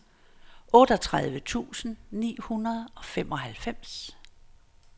otteogtredive tusind ni hundrede og femoghalvfems